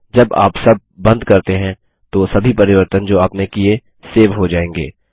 जब आप सब बंद करते हैं तो सभी परिवर्तन जो आपने किए सेव हो जायेंगे